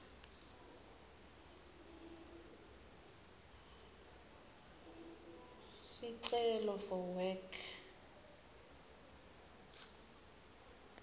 sicelo for work